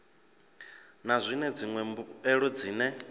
na zwine dziṅwe mbuelo dzine